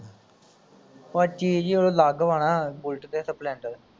ਉਹ ਆਹ ਚੀਜ਼ ਹੀ ਅਲੱਗ ਵਾ ਨਾ ਬੂਲੇਟ ਤੇ ਸਪਲੈਂਡਰ